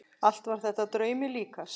Allt var þetta draumi líkast.